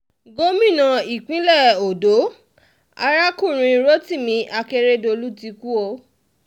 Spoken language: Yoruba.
gómìnà ìpínlẹ̀ ọ̀dọ́ arákùnrin rotimi akeredolu ti kú o